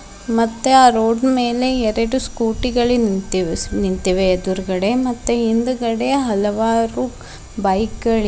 ಮತ್ತೆ ಆ ರೋಡ್ ಮೇಲೆ ಎರಡು ಸ್ಕೂಟಿ ಗಳಿನ್ಗ ನಿಂತಿವ್ ನಿಂಳಿತಿವೆ ಎದುರ್ಗಡೆ ಮತ್ತೆ ಹಿಂದಗಡೆ ಹಲವಾರು ಬೈಕ್ ಗಳಿವ್ --